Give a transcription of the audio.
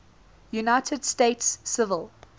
united states civil